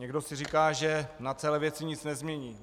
Někdo si říká, že na celé věci nic nezmění.